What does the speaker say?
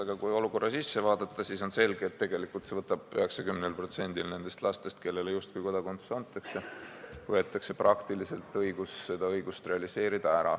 Aga kui olukorda vaadata, siis on selge, et tegelikult 90%-lt nendest lastest, kellele justkui kodakondsus antakse, võetakse praktiliselt ära võimalus seda õigust realiseerida.